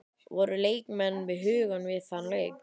Voru leikmenn við hugann við þann leik?